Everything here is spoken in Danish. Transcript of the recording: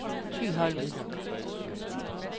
Thyholm